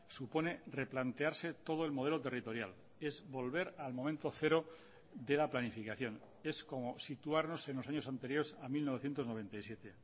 supone replantearse todo el modelo territorial es volver al momento cero de la planificación es como situarnos en los años anteriores a mil novecientos noventa y siete